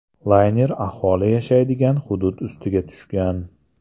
Layner aholi yashaydigan hudud ustiga tushgan.